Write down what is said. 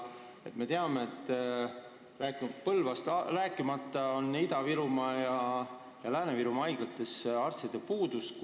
Me ju teame, et näiteks Põlvas, rääkimata sellest, et Ida-Virumaa ja Lääne-Virumaa haiglates on arstide puudus.